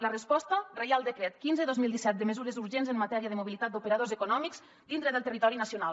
la resposta reial decret quinze dos mil disset de mesures urgents en matèria de mobilitat d’operadors econòmics dintre del territori nacional